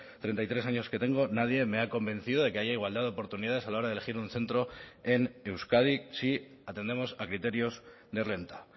treinta y tres años que tengo nadie me ha convencido de que haya igualdad de oportunidades a la hora de elegir un centro en euskadi si atendemos a criterios de renta